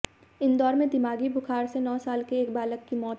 इंदौर में दिमागी बुखार से नौ साल के एक बालक की मौत